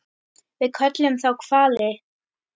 Við köllum þá hvali.